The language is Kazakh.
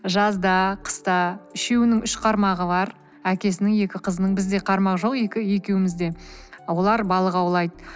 жазда қыста үшеуінің үш қармағы бар әкесінің екі қызының бізде қармақ жоқ екеуімізде олар балық аулайды